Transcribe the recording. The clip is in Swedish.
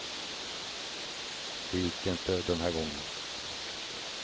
Det gick inte den här gången.